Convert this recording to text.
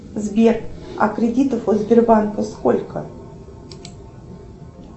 сбер а кредитов у сбербанка сколько